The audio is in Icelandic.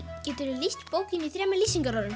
geturðu lýst bókinni í þremur lýsingarorðum